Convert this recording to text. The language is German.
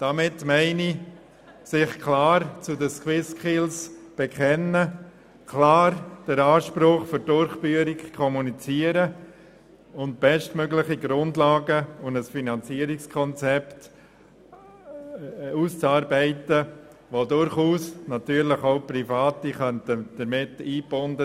Damit meine ich, dass er sich klar zu den SwissSkills bekennt und den Antrag zur Durchführung kommuniziert, und dass er bestmögliche Grundlagen für ein Finanzierungskonzept ausarbeitet, in welches durchaus auch Private eingebunden werden können.